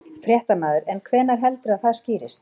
Fréttamaður: En hvenær heldurðu að það skýrist?